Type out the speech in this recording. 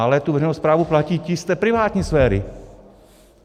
Ale tu veřejnou správu platí ti z té privátní sféry.